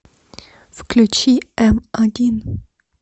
включи м один